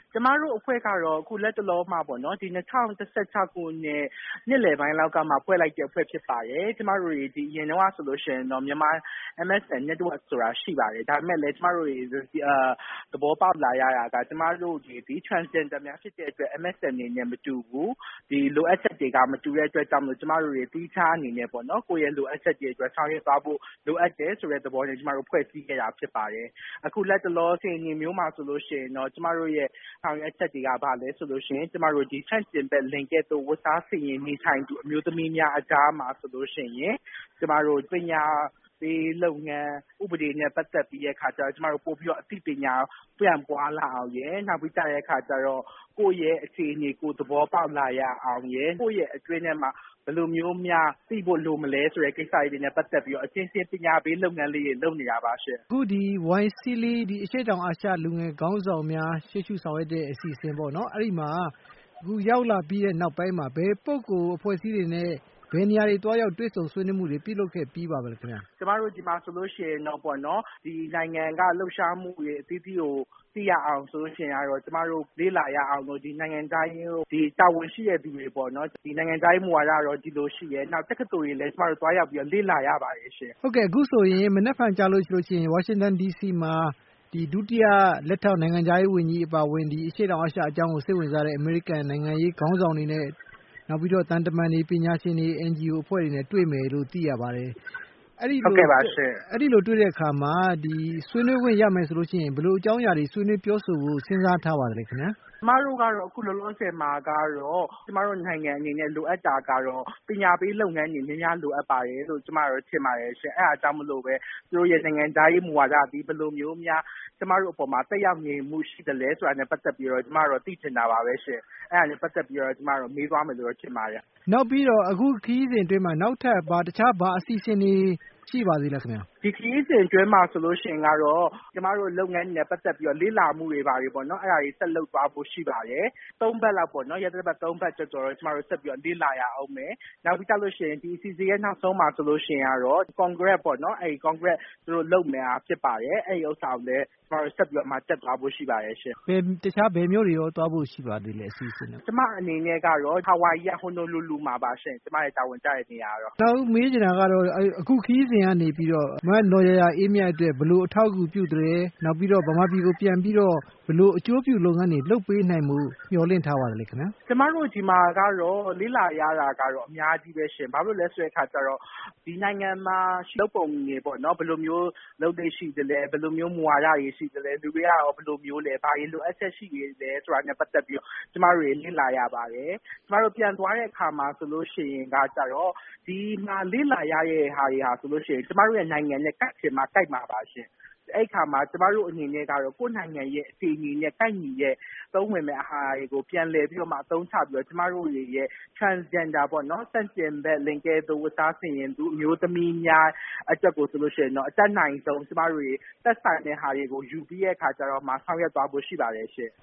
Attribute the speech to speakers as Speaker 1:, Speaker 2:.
Speaker 1: “ကျမတို့အဖွဲ့ကတော့ အခု လတ်တလောမှပေါ့နော်၊ ဒီ ၂၀၁၆ ခု နှစ်လည်ပိုင်းလောက်ကမှ ဖွဲ့လိုက်တဲ့ အဖွဲ့တခု ဖြစ်ပါတယ်။ ကျမတို့တွေ အရင်တုန်းက ဆိုရင်တော့ MSN Network ဆိုတာ ရှိပါတယ်။ ဒါပေမယ့်လည်း ကျမတို့တွေ သဘော ပေါက်လာရတာက ကျမတို့တွေသည် Transgender များ ဖြစ်တဲ့အတွက် MSN တွေနဲ့ မတူဘူး၊ ဒီ လိုအပ်ချက်တွေက မတူတဲ့ အတွက်ကြောင့်မို့လို့ ကျမတို့တွေ သီးခြား အနေနဲ့ပေါ့နော်၊ ကိုယ့်ရဲ့ လိုအပ်ချက်တွေအတွက် ဆောင်ရွက်သွားဖို့ လိုအပ်တယ် ဆိုတဲ့ သဘောနဲ့ ကျမတို့ ဖွဲ့စည်းခဲ့တာ ဖြစ်ပါတယ်။ အခု လတ်တလော အခြေအနေမျိုးမှာ ဆိုရင်တော့ ကျမတို့ရဲ့ ဆောင်ရွက်ချက်တွေက ဘာလဲဆိုလို့ရှိရင်၊ ကျမတို့ ဆန့်ကျင်ဘက်လိင်ကဲ့သို့ ဝတ်စားဆင်ယင် နေထိုင်သူ အမျိုးသမီးများ အကြားမှာ ဆိုလို့ရှိရင် ကျမတို့ ပညာပေးလုပ်ငန်း၊ ဥပနေဲ့ပတ်သက်ပြီး ကျမတို့ အသိပညာ ပြန့်ပွားလာအောင်ရယ်၊ နောက်ပြီးကျတဲ့အခါကျတော့ ကိုယ့်ရဲ့ အခြေအနေ ကိုယ်သဘောပေါက်လာရအောင်ရယ်၊ ကိုယ့်ရဲ့ အတွင်းထဲမှာ ဘယ်လိုမျိုးများ သိဖို့လိုမလဲဆိုတဲ့ ကိစ္စတွေနဲ့ ပတ်သက်ပြီးတော့ အချင်းချင်း ပညာပေး လုပ်ငန်းလေးတွေ လုပ်နေတာပါရှင့်။”
Speaker 2: အခု ဒီ YSEALI အရှေ့တောင်အာရှ လူငယ်ခေါင်းဆောင်များ ရှေ့ရှုဆောင်ရွက်တဲ့ အစီအစဉ်ပေါ့နော်၊ အဲဒီမှာ အခု ရောက်လာပြီးတဲ့ နောက်ပိုင်းမှာ ဘယ်ပုဂ္ဂိုလ် အဖွဲ့အစည်းတွေနဲ့ ဘယ်နေရာတွေ သွားရောက် တွေ့ဆုံ ဆွေးနွေးမှုတွေ ပြုလုပ်ခဲ့ပြီးပါပြီလဲ ခင်ဗျ။
Speaker 1: “ကျမတို့ ဒီမှာဆိုလို့ရှိရင်တော့ပေါ့နော်၊ ဒီနိုင်ငံက လှုပ်ရှားမှုတွေ အသီးသီးကို သိရအောင် ဆိုလို့ရှိရင်ကတော့ ကျမတို့ လေ့လာကြရအောင်လို့ ဒီ တာဝန်ရှိတဲ့သူတွေပေါ့နော်၊ ဒီ နိုင်ငံခြားရေး မူဝါဒကတော့ ဒီလိုရှိတယ်၊ နောက် တက္ကသိုလ်တွေလည်း ကျမတို့ သွားရောက်ပြီးတော့ လေ့လာရပါတယ်ရှင့်။”
Speaker 2: ဟုတ်ကဲ့၊ အခုဆိုရင် မနက်ဖြန်ကျလို့ရှိရင် ဝါရှင်တန် ဒီစီမှာ ဒုတိယ လက်ထောက် နိုင်ငံခြားရေးဝန်ကြီး အပါအဝင် ဒီ အရှေ့တောင် အာရှအကြောင်းကို စိတ်ဝင်စားတဲ့ အမေရိကန် နိုင်ငံရေး ခေါင်းဆောင်တွေနဲ့၊ နောက်ပြီးတော့ သံတမန်တွေ၊ ပညာရှင်တွေ၊ NGO အဖွဲ့တွေနဲ့ တွေ့မယ်လို့ သိရပါတယ်။ အဲဒီလို တွေ့တဲ့အခါမှာ ဆွေးနွေးခွင့် ရမယ်ဆိုလို့ရှိရင် ဘယ်လို အကြောင်းအရာတွေ ဆွေးနွေး ပြောဆိုဖို့ စဉ်းစားထားပါသလဲ ခင်ဗျာ။
Speaker 1: “ကျမတို့ကတော့ အခုလောလောဆယ်မှာကတော့ ကျမတို့နိုင်ငံအနေနဲ့ လိုအပ်တာကတော့ ပညာပေးလုပ်ငန်းတွေ များများ လိုအပ်ပါတယ်လို့ ကျမကတော့ ထင်ပါတယ်ရှင့်။ အဲဒါကြောင့်မို့လို့ဘဲ သူတို့ရဲ့ နိုင်ငံခြားရေး မူဝါဒသည် ဘယ်လိုမျိုးများ ကျမတို့အပေါ်မှာ သက်ရောက်နေမှု ရှိသလဲဆိုတာနဲ့ ပတ်သက်ပြီးတော့ ကျမကတော့ သိချင်တာပါဘဲရှင့်။ အဲဒါနဲ့ ပတ်သက်ပြီးတော့တော့ ကျမကတော့ မေးသွားမယ်လို့ ထင်ပါတယ်။”
Speaker 2: နောက်ပြီးတော့ အခုခရီးစဉ်အတွင်းမှာ နောက်ထပ် တခြား ဘာအစီအစဉ်တွေ ရှိပါသေးလဲ ခင်ဗျ။
Speaker 1: “ဒီခရီးစဉ်အတွင်းမှာ ဆိုလို့ရှိရင်ကတော့ ကျမတို့ လုပ်ငန်းတွေနဲ့ ပတ်သက်ပြီးတော့ လေ့လာမှုတွေ ဘာတွေပေါ့နော်၊ အဲဒါတွေ ဆက်လုပ်သွားဖို့ ရှိပါတယ်။ ရက်သတ္တပတ် ၃ ပတ်ကျော်ကျော်လောက်ပေါ့နော်၊ ဆက်ပြီးတော့ လေ့လာ ရဦးမယ်။ နောက်ပြီးကျလို့ရှိရင် ဒီအစီအစဉ်ရဲ့ နောက်ဆုံးမှာ ဆိုလို့ရှိရင်ကတော့ ကွန်ဂရက်ပေါ့နော်၊ အဲဒီ ကွန်ဂရက် သူတို့ လုပ်နေတာ ဖြစ်ပါတယ်။ အဲဒီဥစ္စာကိုလည်း ကျမတို့ ဆက်ပြီးတော့မှ တက်သွားဖို့ ရှိပါတယ်ရှင့်။”
Speaker 2: တခြား ဘယ်မြို့တွေများ သွားဖို့ရှိပါသေးလဲ ခင်ဗျ။
Speaker 1: “ကျမအနေနဲ့ကတော့ Hawaii က Honolulu မှာပါရှင့်။ ကျမရဲ့ တာဝန်ကျတဲ့နေရာကတော့။
Speaker 2: နောက်မေးချင်တာကတော့ အခုခရီးစဉ်ကနေပြီးတော့ မနော်ယာယာအေးမြတ် အတွက် ဘယ်လို အထောက်အကူပြုသလဲ၊ နောက်ပြီးတော့ မြန်မာပြည်ကို ပြန်ပြီးတော့ ဘယ်လို အကျိုးပြုလုပ်ငန်းတွေ လုပ်ပေးနိုင်ဖို့ မျှော်လင့်ထားပါသလဲ ခင်ဗျား။
Speaker 1: “ကျမတို့ ဒီမှာကတော့ လေ့လာရတာကတော့ အများကြီးဘဲရှင့်။ ဘာဖြစ်လို့လဲ ဆိုတဲ့အခါကျတော့ ဒီနိုင်ငံမှာ လုပ်ပုံတွေပေါ့နော်၊ ဘယ်လိုမျိုး လုပ်လေ့ ရှိသလဲ၊ ဘယ်လိုမျိုး မူဝါဒတွေ ရှိသလဲ၊ လူတွေကရော ဘယ်လိုမျိုးလဲ၊ ဘာတွေ လိုအပ်ချက် ရှိနေသလဲဆိုတာနဲ့ ပတ်သက်ပြီးတော့ ကျမတို့တွေ လေ့လာရပါတယ်။ ကျမတို့ ပြန်သွားတဲ့အခါမှာ ဆိုလို့ရှိရင်က ကျတော့ ဒီမှာ လေ့လာရတဲ့ ဟာတွေဟာဆိုရင် ကျမတို့နိုင်ငံနဲ့ ကိုက်ချင်မှ ကိုက်မှာပါရှင့်။ အဲဒီအခါမှာ ကျမတို့အနေနဲ့ကတော့ ကိုယ့်နိုင်ငံရဲ့ အခြေအနေနဲ့ ကိုက်ညီတဲ့ အသုံးဝင်မယ့်ဟာတွေကို ပြန်လည်ပြီးတော့မှ အသုံးချပြီးတော့ ကျမတို့တွေရဲ့ Transgender ပေါ့နော်၊ ဆန့်ကျင်ဘက် လိင်ကဲ့သို့ ဝတ်စားဆင်ယင်သူ အမျိုးသမီးများ အတွက်ကို ဆိုလို့ရှိရင်တော့ အတတ်နိုင်ဆုံး ကျမတို့တွေ သက်ဆိုင်တဲ့ဟာတွေကို ယူပြီးတဲ့အခါကျတော့မှ ဆောင်ရွက်သွားဖို့ ရှိပါတယ်ရှင့်။”